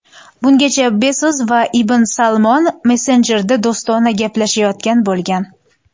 Bungacha Bezos va bin Salmon messenjerda do‘stona gaplashayotgan bo‘lgan.